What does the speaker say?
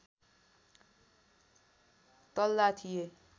तल्ला थिए